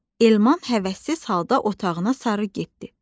Elman həvəssiz halda otağına sarı getdi.